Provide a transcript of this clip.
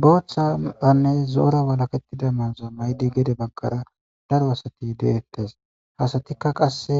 Bootha kutane zo'ora walaketida mayota mayid gede bagara Daro asat de'etes. Hesatika qase